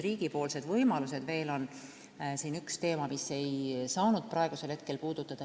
Mis võimalused on riigil leevendust anda?